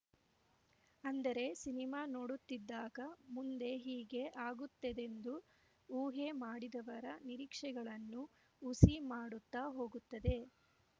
ಅಂದರೆ ಸಿನಿಮಾ ನೋಡುತ್ತಿದ್ದಾಗ ಮುಂದೆ ಹೀಗೇ ಆಗುತ್ತದೆಂದು ಊಹೆ ಮಾಡಿದವರ ನಿರೀಕ್ಷೆಗಳನ್ನು ಹುಸಿ ಮಾಡುತ್ತ ಹೋಗುತ್ತದೆ